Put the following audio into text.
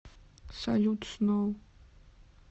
салют сноу